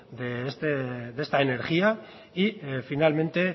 de esta energía y finalmente